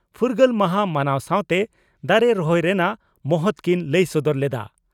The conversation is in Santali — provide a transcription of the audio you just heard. ᱯᱷᱩᱨᱜᱟᱹᱞ ᱢᱟᱦᱟᱸ ᱢᱟᱱᱟᱣ ᱥᱟᱣᱛᱮ ᱫᱟᱨᱮ ᱨᱚᱦᱚᱭ ᱨᱮᱱᱟᱜ ᱢᱚᱦᱚᱛ ᱠᱤᱱ ᱞᱟᱹᱭ ᱥᱚᱫᱚᱨ ᱞᱮᱫᱼᱟ ᱾